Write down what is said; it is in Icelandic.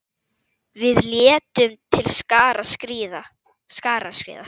Við létum til skarar skríða.